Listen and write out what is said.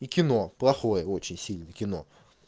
и кино плохое очень сильно кино